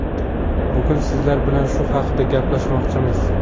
Bugun sizlar bilan shu haqida gaplashmoqchimiz.